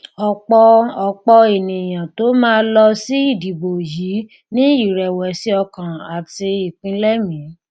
ọpọ ọpọ ènìyàn tó máa lọ sí ìdìbò yìí ní ìrèwèsìọkàn àti ìpinlẹmìí